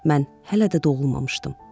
Mən hələ də doğulmamışdım.